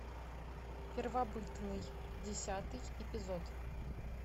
первобытный десятый эпизод